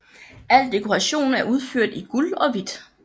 Al dekoration er udført i guld og hvidt